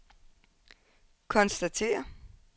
konstatere